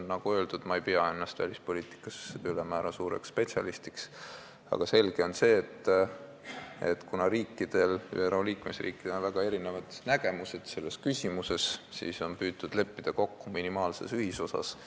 Nagu öeldud, ma ei pea ennast ülemäära suureks välispoliitika spetsialistiks, aga selge on see, et ÜRO liikmesriikidel on väga erinevad nägemused selles küsimuses ja sellepärast on püütud kokku leppida minimaalses ühisosas.